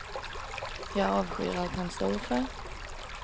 Jag avskyr allt han står för.